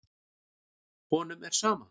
Honum er sama.